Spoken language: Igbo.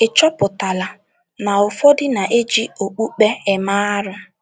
Ị̀ chọpụtala na ụfọdụ ndị na - eji okpukpe eme arụ?